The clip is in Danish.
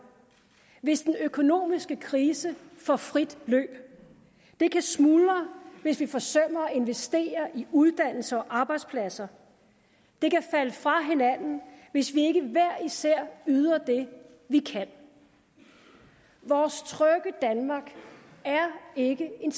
hvis den økonomiske krise får frit løb det kan smuldre hvis vi forsømmer at investere i uddannelse og arbejdspladser det kan falde fra hinanden hvis vi ikke hver især yder det vi kan vores trygge danmark er ikke en